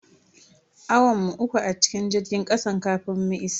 Awan mu uku a cikin jirgin kasan kafin muka isa.